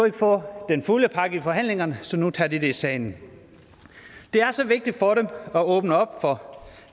ikke få den fulde pakke i forhandlingerne så nu tager de det i salen det er så vigtigt for dem at åbne op for